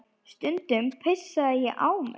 Stundum pissaði ég á mig.